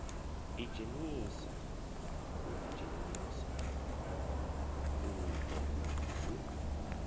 idzhenisa u ḓidzhenisa uho hu